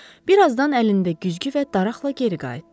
Bir azdan əlində güzgü və daraqla geri qayıtdı.